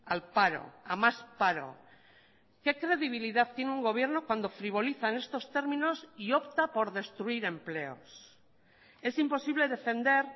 al paro a más paro qué credibilidad tiene un gobierno cuando frivolizan estos términos y opta por destruir empleos es imposible defender